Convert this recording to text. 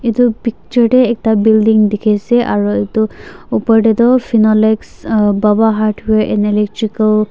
itu picture deh ekta building dikhi ase aru itu opor teh tu finolex ahh baba hardware and baba electrical .